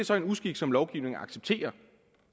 så er en uskik som lovgivningen accepterer